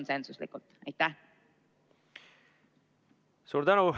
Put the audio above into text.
Suur tänu!